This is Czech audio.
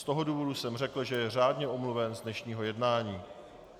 Z toho důvodu jsem řekl, že je řádně omluven z dnešního jednání.